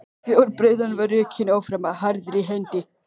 Fjárbreiðan var rekin áfram harðri hendi.